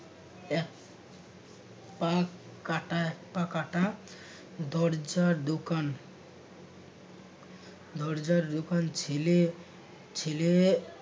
এক পা কাটা এক পা কাটা দরজার দোকান দরজার দোকান ছিলে ছিলে